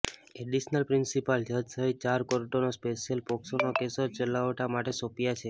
additional principal જજ સહિત ચાર કોર્ટોને સ્પેશિયલ પોક્સોના કેસો ચલાવવા માટે સોંપાયા છે